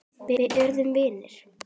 Við urðum vinir.